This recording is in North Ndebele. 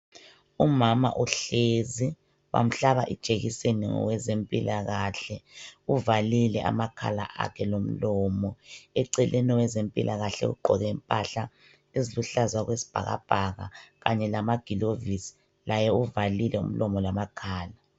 umama uhlezi bamhlaba ijekiseni ngowezempilakahle uvalile amakhala akhe lomlomo eceleni owezempilakahle ugqoke impahla eziluhlaza okwesibhakabhaka kanye lamagilovisi laye uvalile umlomo lamakhala